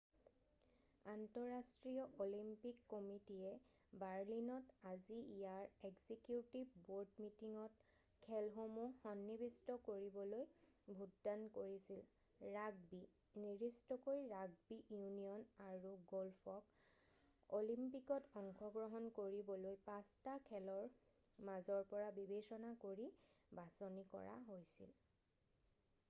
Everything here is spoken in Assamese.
আন্তঃৰাষ্ট্ৰীয় অলিম্পিক কমিটিয়ে বাৰ্লিনত আজি ইয়াৰ এক্সিকিউটিভ বৰ্ড মিটিঙত খেলসমূহ সন্নিৱিষ্ট কৰিবলৈ ভোটদান কৰিছিল৷ ৰাগবি নিৰ্দিষ্টকৈ ৰাগবি ইউনিয়ন আৰু গ'ল্ফক অলিম্পিকত অংশগ্ৰহণ কৰিবলৈ 5 টা খেলৰ মাজৰ পৰা বিবেচনা কৰি বাছনি কৰা হৈছিল৷